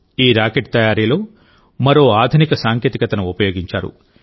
ఈ రాకెట్ తయారీలో మరో ఆధునిక సాంకేతికతను ఉపయోగించారు